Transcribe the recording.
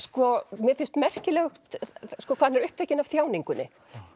mér finnst merkilegt hvað hann er upptekinn af þjáningunni